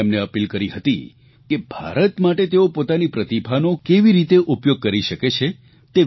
મે એમને અપીલ કરી હતી કે ભારત માટે તેઓ પોતાની પ્રતિભાનો કેવી રીતે ઉપયોગ કરી શકે છે